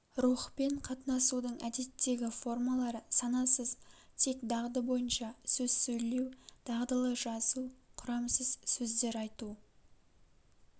рухпен катынасудың әдеттегі формалары санасыз тек дағды бойынша сөз сөйлеу дағдылы жазу құрамсыз сөздер айту